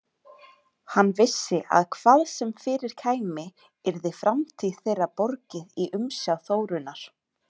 Hann vissi að hvað sem fyrir kæmi yrði framtíð þeirra borgið í umsjá Þórunnar.